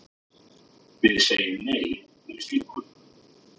Við segjum nei við slíku.